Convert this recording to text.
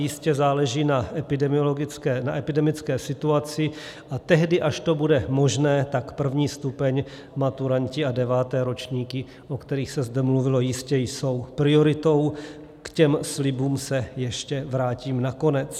Jistě záleží na epidemické situaci, a tehdy, až to bude možné, tak první stupeň, maturanti a deváté ročníky, o kterých se zde mluvilo, jistě jsou prioritou, k těm slibům se ještě vrátím nakonec.